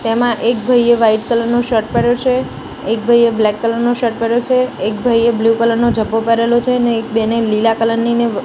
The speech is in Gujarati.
તેમાં એક ભઈએ વ્હાઈટ કલર નો શર્ટ પેહર્યો છે એક ભઈએ બ્લેક કલર નો શર્ટ પહેર્યો છે એક ભઈએ બ્લુ કલર નો ઝભ્ભો પહેરેલો છે ને એક બેને લીલા કલર ની ને--